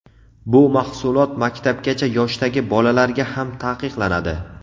bu mahsulot maktabgacha yoshdagi bolalarga ham taqiqlanadi.